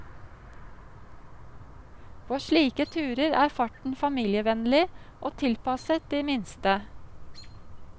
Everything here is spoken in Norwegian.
På slike turer er farten familievennlig og tilpasset de minste.